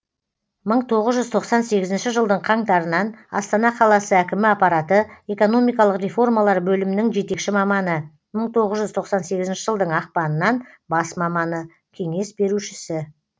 мың тоғыз жүз тоқсан сегізінші жылдың қаңтарынан астана қаласы әкімі аппараты экономикалық реформалар бөлімінің жетекші маманы мың тоғыз жүз тоқсан сегізінші жылдың ақпанынан бас маманы кеңес берушісі